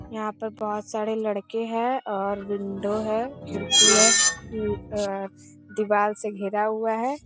यहाँ पर बहुत सारे लड़के हैं और विंडो है खिड़की है दीवाल से घेरा हुआ है ।